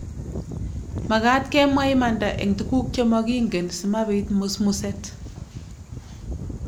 Makat kemwa imanda eng tuguk che mokingen si mabiit musmuset .